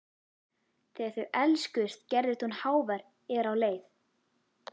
Þegar þau elskuðust gerðist hún hávær er á leið.